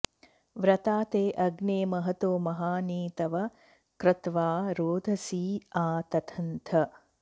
व्र॒ता ते॑ अग्ने मह॒तो म॒हानि॒ तव॒ क्रत्वा॒ रोद॑सी॒ आ त॑तन्थ